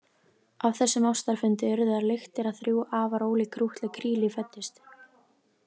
Af þessum ástarfundi urðu þær lyktir að þrjú afar ólík krúttleg kríli fæddust.